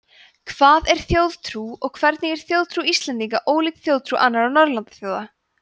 hvað er þjóðtrú og hvernig er þjóðtrú íslendinga ólík þjóðtrú annarra norðurlandaþjóða